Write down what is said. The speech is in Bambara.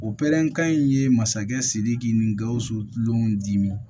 O pɛrɛn kan in ye masakɛ sidiki ni gawusu tulon dimi